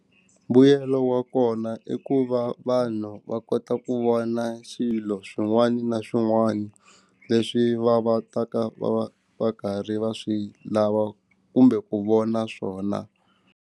Mbuyelo wa kona i ku va vanhu va kota ku vona xilo swin'wana na swin'wana leswi va va ta ka va va karhi va swi lava kumbe ku vona swona.